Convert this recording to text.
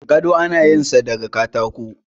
gado ana yin sa daga katako